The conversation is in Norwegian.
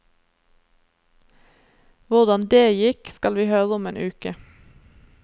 Hvordan dét gikk, skal vi høre om en uke.